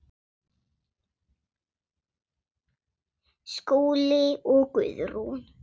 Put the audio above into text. Skúli og Guðrún.